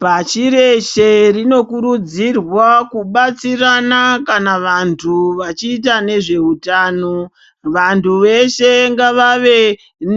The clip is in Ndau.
Pashi reshe rinokurudzirwa kubatsirana kana vantu vachiita nezveutano, vantu veshe ngavave